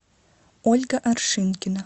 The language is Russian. ольга аршинкина